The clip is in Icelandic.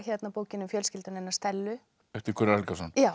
bókin um fjölskylduna hennar Stellu eftir Gunnar Helgason